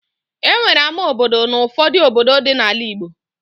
E nwere ama obodo n'ufọdụ obodo dị n'ala igbo